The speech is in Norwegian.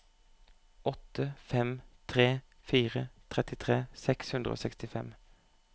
åtte fem tre fire trettitre seks hundre og sekstifem